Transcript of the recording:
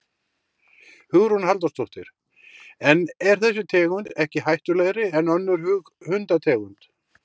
Hugrún Halldórsdóttir: En er þessi tegund ekki hættulegri en önnur hundategund?